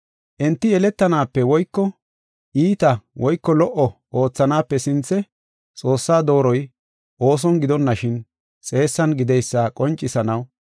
Enti yeletanaape woyko iita woyko lo77o oothanaape sinthe Xoossaa dooroy ooson gidonashin xeessan gideysa qoncisanaw,